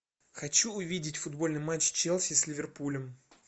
хочу увидеть футбольный матч челси с ливерпулем